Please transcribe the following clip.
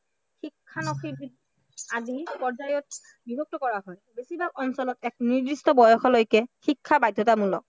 আদি পৰ্যায়ত বিভক্ত কৰা হয়। বেছিভাগ অঞ্চলত এক নিৰ্দিষ্ট বয়সলৈকে শিক্ষা বাধ্য়তামূলক